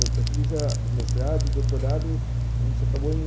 Eu fiz o mestrado e o doutorado, a gente acabou